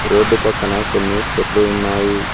Road పక్కన కొన్ని చెట్లు ఉన్నాయి.